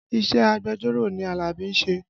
Iṣẹ́ agbẹjọ́rò ni Alabi ń ṣe